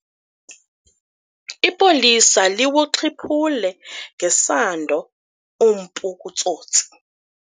Ipolisa liwuxhiphule ngesando umpu kutsotsi.